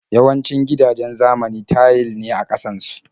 Yawancin gidajen zamani tayil ne a ƙasan su.